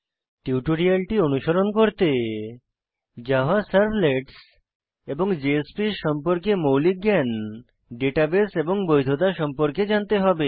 টিউটোরিয়ালটি অনুসরণ করতে জাভা সার্ভলেটস এবং জেএসপিএস সম্পর্কে মৌলিক জ্ঞান ডেটাবেস এবং বৈধতা সম্পর্কে জানতে হবে